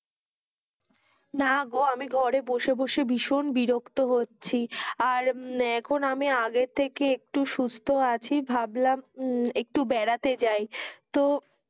না গো আমি ঘরে বসে বসে ভীষণ বিরক্ত হচ্ছি, আর উম আর এখন আমি আগের থেকে একটু সুস্থ আছি, ভাবলাম উম একটু বেড়াতে যাই তো,